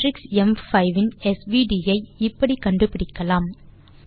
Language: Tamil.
மேட்ரிக்ஸ் ம்5 இன் எஸ்விடி ஐ இப்படி கண்டுபிடிக்கலாம்